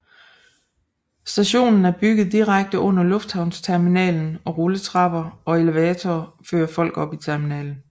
Stationen er bygget direkte under lufthavnsterminalen og rulletrapper og elevatorer fører folk op i terminalen